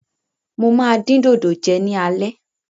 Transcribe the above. Mo máa dín dòdò jẹ ní alẹ́.